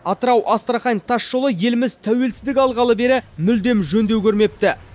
атырау астрахань тасжолы еліміз тәуелсіздік алғалы бері мүлдем жөндеу көрмепті